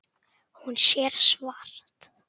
Hún sér svart.